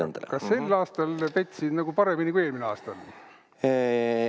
Jaa-jaa, kas ma sel aastal petsin nagu paremini ära kui eelmisel aastal?